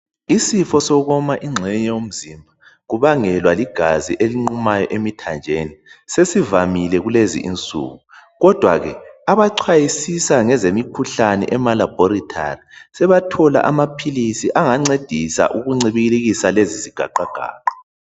Isifo sokuwoma ingxenye yomzimba sibangelwa yikunquma kwegazi emthanjeni sesivamile kulezi insuku, kodwa ke. Abachwayisisa ngezemikhuhlane emalabhorethari sebathola amaphilisi angancedisa ukuncibilikisa lezi zigaqa gaqa.